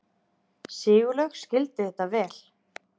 Sigurlaug skildi þetta vel.